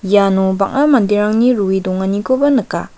iano bang·a manderangni roe donganikoba nika.